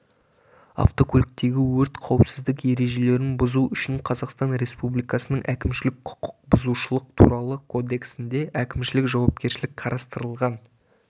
автокөліктегі өрт қауіпсіздік ережелерін бұзу үшін қазақстан республикасының әкімшілік құқық бұзушылық туралы кодексінде әкімшілік жауапкершілік қарастырылған